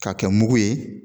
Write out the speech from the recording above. K'a kɛ mugu ye